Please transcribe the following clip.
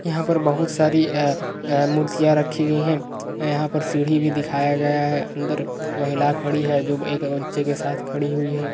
यहाँ पर बहुत सारी अ अ मूर्तियाँ रखी गई है यहाँ पर सीढ़ी में दिखाया गया है अंदर महिला खड़ी है जो एक बच्चे के साथ खड़ी हुई है।